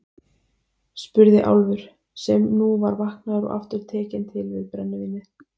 spurði Álfur, sem nú var vaknaður og aftur tekinn til við brennivínið.